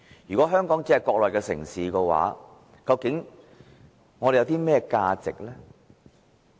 如果香港只是一個國內的城市，究竟我們有甚麼價值呢？